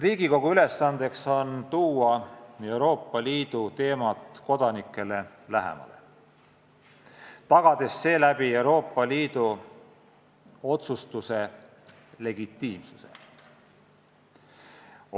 Riigikogu ülesandeks on tuua Euroopa Liidu teemad kodanikele lähemale, tagades seeläbi Euroopa Liidu otsustuse legitiimsuse.